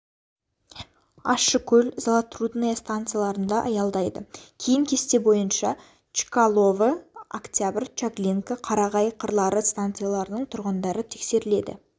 ащыкөл золотрудная станцияларында аялдайды кейін кесте бойынша чкалово октябрь чаглинка қарағай қырлары станцияларының тұрғындары тексеріледі